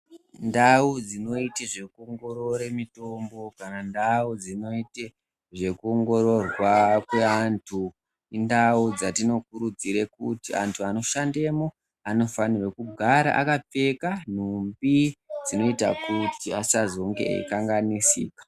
Ndau dzinoite zvekuongorore mitombo pandau dzinoite zvekuongororwa kweantu indau dzatinokurudzire kuti antu anoshandemo anofanirwa kugara akapfeka nhumbi dzinoita kuti asazonge eikanganisika.